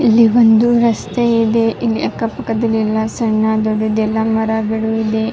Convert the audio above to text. ಇಲ್ಲಿ ಒಂದು ರಸ್ತೆ ಇದೆ ಇಲ್ಲಿ ಅಕ್ಕ ಪಕ್ಕದಲ್ಲಿ ಎಲ್ಲ ಸಣ್ಣ ದೊಡ್ಡದೆಲ್ಲ ಮರಗಾಡೋ ಇದೆ.